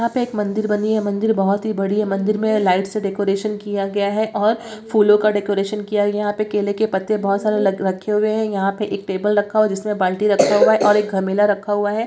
यहाँ पे एक मंदिर बनी है मंदिर बहुत ही बड़ी है मंदिर में लाइट से डेकोरेशन किया गया है और फूलों का डेकोरेशन किया गया है यहाँ पे केले के पत्ते बहुत सारे लग रखे हुए हैं यहाँ पर एक टेबल रखा हुआ है जिसमें बाल्टी भी रखा हुआ है और एक गैमिला रखा हुआ है।